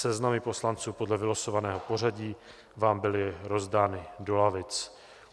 Seznamy poslanců podle vylosovaného pořadí vám byly rozdány do lavic.